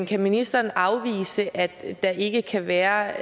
kan ministeren afvise at der ikke kan være